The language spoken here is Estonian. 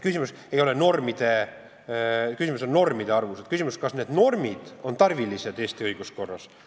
Kui rääkida normide arvust, siis on küsimus, kas need normid on Eesti õiguskorras tarvilised.